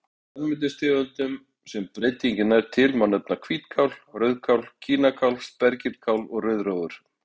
Af grænmetistegundum sem breytingin nær til má nefna hvítkál, rauðkál, kínakál, spergilkál og rauðrófur.